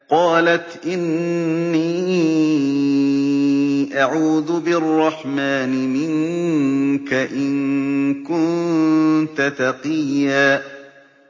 قَالَتْ إِنِّي أَعُوذُ بِالرَّحْمَٰنِ مِنكَ إِن كُنتَ تَقِيًّا